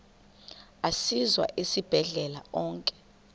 asiwa esibhedlele onke